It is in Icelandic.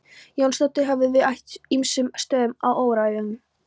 Jónsdóttir höfðust við á ýmsum stöðum á öræfum